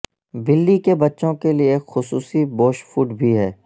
بلی کے بچوں کے لئے ایک خصوصی بوش فوڈ بھی ہے